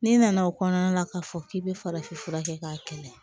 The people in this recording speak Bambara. N'i nana o kɔnɔna la k'a fɔ k'i bɛ farafin fura kɛ k'a kɛlɛ